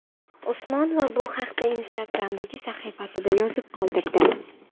Usmonova bu haqda Instagram’dagi sahifasida yozib qoldirdi.